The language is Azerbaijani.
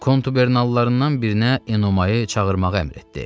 Kontubernallarından birinə Enomayı çağırmağı əmr etdi.